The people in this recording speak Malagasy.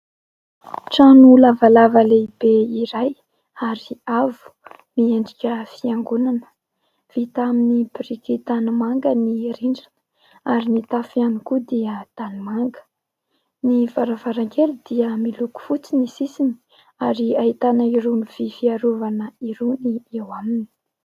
Trano lavalava lehibe iray ary avo, miendrika fiangonana. Vita amin'ny biriky tanimanga ny rindrina ary ny tafo ihany koa dia tanimanga. Ny varavarankely dia miloko fotsy ny sisiny ary ahitana irony vy fiarovana irony eo aminy.